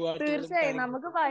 പാട്ടുകളും കാര്യങ്ങളൊക്കെ.